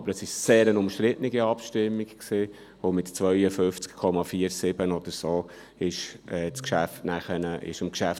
Aber die Abstimmung war sehr umstritten, und mit 52,47 Prozent oder ähnlich wurde dann dem Geschäft zugestimmt.